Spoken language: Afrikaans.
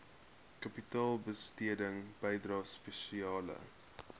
kapitaalbesteding bydrae spesiale